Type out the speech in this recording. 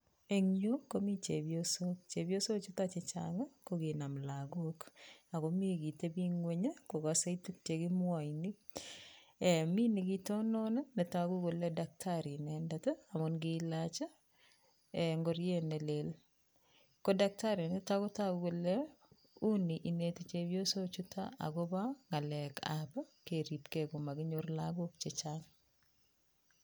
Eng yu komi chepyosok, chepyosochuto che chang ko kinam lagok, ako mi kitebi nguny ii kokase tuguk che kimwoin ii, mi nikitonon ii ne toku kole daktari inendet ii, amun kilaach ngoriet ne leel, ko daktari nito kotoku kole uni ineti chepyosochuto akobo ngalekab keripkei ko makinyor lagok chechang.